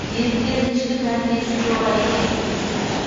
еріктілердің ішкі тәрбиесі жоғары екені сөзсіз